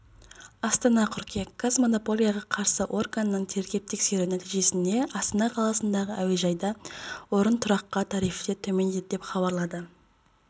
астана қыркүйек қаз монополияға қарсы органның тергеп-тексеруі нәтижесінде астана қаласындағы әуежайда орынтұраққа тарифтер төмендеді деп хабарлады